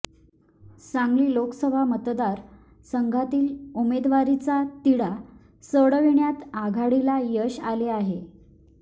सांगली लोकसभा मतदार संघातील उमेदवारीचा तिढा सोडविण्यात आघाडीला यश आले आहे